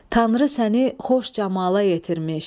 Tanrı səni xoş camala yetirmiş,